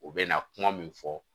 U bɛ na kuma min fɔ